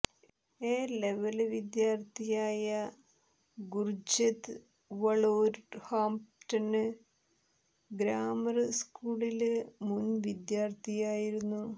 A level വിദ്യാര്ത്ഥിയായ Gurjit Wolverhampton grammar സ്കൂളിലെ മുന് വിദ്യാര്ത്ഥിയായിരുന്നു